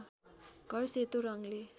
घर सेतो रङ्गले